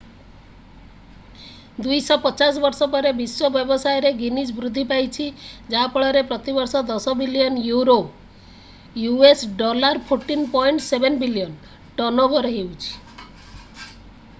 250 ବର୍ଷ ପରେ ବିଶ୍ୱ ବ୍ୟବସାୟରେ ଗିନିଜ୍ ବୃଦ୍ଧି ପାଇଛି ଯାହା ଫଳରେ ପ୍ରତି ବର୍ଷ 10 billion euro us$14.7 billion turnover ହେଉଛି।